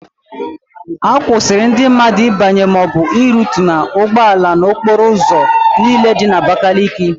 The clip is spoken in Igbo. A kwụsịrị ndị mmadụ ịbanye maọbụ irutu n'ụgbọala n'okporo ụzọ niile dị n'Abakaliki.